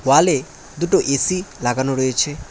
ওয়ালে দুটো এ_সি লাগানো রয়েছে।